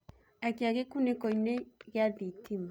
akĩa gikuniko ini gia thitima